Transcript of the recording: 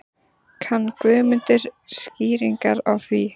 Kann Guðmundur skýringar á því?